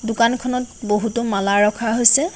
দোকানখনত বহুতো মালা ৰখা হৈছে।